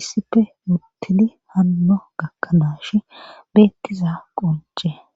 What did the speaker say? issife murtidi hanno gakkanaash beettiza qonce